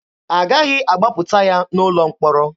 Agaghị agbapụta ya n'ụlọ mkpọrọ.